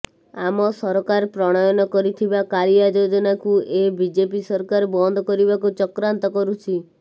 ଆମ ସରକାର ପ୍ରଣୟନ କରିଥିବା କାଳିଆ ଯୋଜନାକୁ ଏ ବିଜେପି ସରକାର ବନ୍ଦ କରିବାକୁ ଚକ୍ରାନ୍ତ କରୁଛି